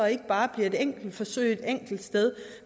ikke bare bliver et enkelt forsøg et enkelt sted